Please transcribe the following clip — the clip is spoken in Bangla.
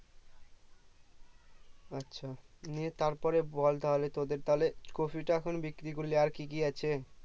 আচ্ছা নিয়ে তারপরে বল তাহলে তোদের তাহলে কপিটা এখন বিক্রি করলি আর কি কি আছে ।